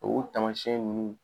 U tamasiyɛn nunnu